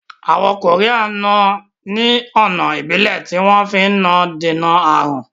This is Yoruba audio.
Àwọn koría náà ni ọ̀nà Ìbílẹ̀ tí wọn fi náà ń dènà aàrùn